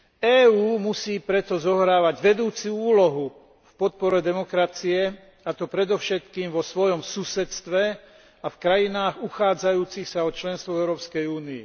EÚ musí preto zohrávať vedúcu úlohu v podpore demokracie, a to predovšetkým vo svojom susedstve a v krajinách uchádzajúcich sa o členstvo v Európskej únii.